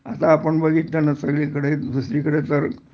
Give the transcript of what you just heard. आता आपण बघितलं ना सांगलीकडे दुसरीकडे तर